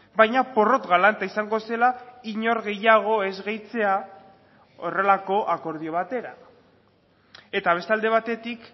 baina porrot galanta izango zela inor gehiago ez gehitzea horrelako akordio batera eta beste alde batetik